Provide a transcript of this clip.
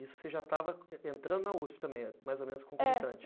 Isso você já estava entrando na usp também né, mais ou menos como? É